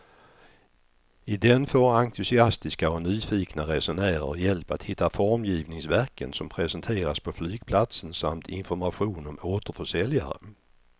I den får entusiastiska och nyfikna resenärer hjälp att hitta formgivningsverken som presenteras på flygplatsen samt information om återförsäljare.